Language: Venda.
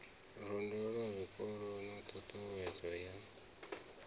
londa zwikolo na ṱhuṱhuwedzo ya